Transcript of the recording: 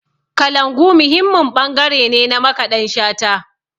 Kalangu muhimmin ɓangare ne na Makaɗan Shata.